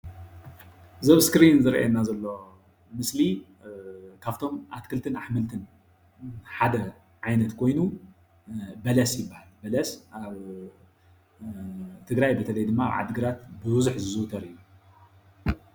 እዚ ኣብ እስክሪን ዝረአየና ዘሎ ምስሊ ካብቶ ኣትክልትን ኣሕምልትን ሓደ ዓይነት ኮይኑ በለስ ይባሃል፡፡ በለስ ድማኒ ኣብ ትግራይ በተለይ ድማ ኣብ ዓዲ ግራት ብብዙሕ ዝዝውተር እዩ፡፡